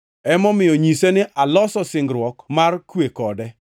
Emomiyo nyise ni aloso singruok mar kwe kode.